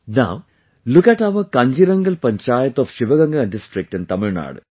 Now look at our Kanjirangal Panchayat of Sivaganga district in Tamil Nadu